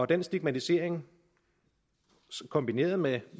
den stigmatisering kombineret med